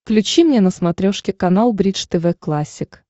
включи мне на смотрешке канал бридж тв классик